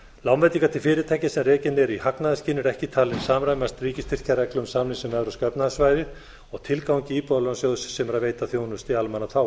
lánveitingar til fyrirtækja sem rekin eru í hagnaðarskyni eru ekki talin samræmast ríkisstyrkjareglum samningsins um evrópska efnahagssvæðið og tilgangi íbúðalánasjóðs sem er að veita þjónustu í almannaþágu